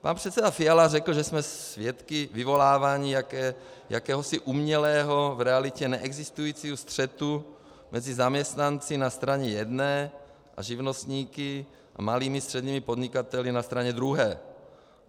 Pan předseda Fiala řekl, že jsme svědky vyvolávání jakéhosi umělého, v realitě neexistujícího střetu mezi zaměstnanci na straně jedné a živnostníky a malými a středními podnikateli na straně druhé.